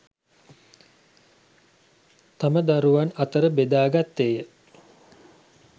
තම දරුවන් අතර බෙදා ගත්තේය